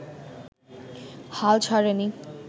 হাল ছাড়েনি